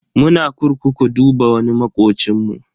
Muna kurkuku duba wani makocinmu.